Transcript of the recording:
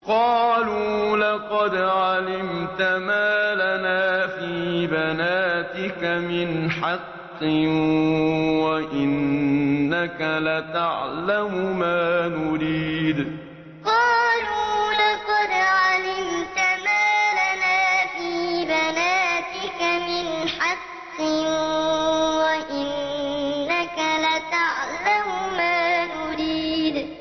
قَالُوا لَقَدْ عَلِمْتَ مَا لَنَا فِي بَنَاتِكَ مِنْ حَقٍّ وَإِنَّكَ لَتَعْلَمُ مَا نُرِيدُ قَالُوا لَقَدْ عَلِمْتَ مَا لَنَا فِي بَنَاتِكَ مِنْ حَقٍّ وَإِنَّكَ لَتَعْلَمُ مَا نُرِيدُ